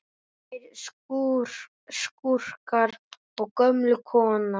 Tveir skúrkar og gömul kona